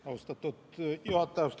Austatud juhataja!